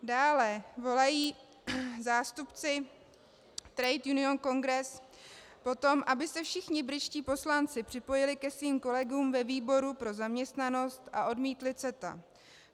Dále volají zástupci Trade Union Congress po tom, aby se všichni britští poslanci připojili ke svým kolegům ve výboru pro zaměstnanost a odmítli CETA.